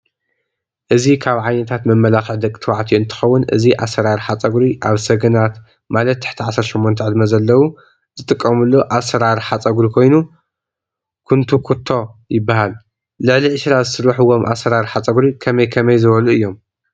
እዚ ካብ ዓይነታት መመላካክዒ ደቂ ተባዕትዮ እንትከው ን እዚ ኣሰራርሓ ፀጉሪ ኣብ ሰገናት ማት ትሕቲ 18 ዕድመ ዘለው ዝጥቀምሉ ኣራርሓ ፀጉሪ ኮይኑ ኩንቱኩቶ ይበሃል። ልዕሊ ዒስራ ዝስርሕዎም ኣሰራርሓ ፀጉሪ ከመይ ከመይ ዝበሎ እዮም?